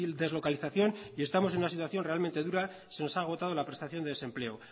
deslocalización y estamos en una situación realmente dura se nos ha agotado la prestación de desempleo